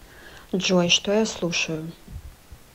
джой что я слушаю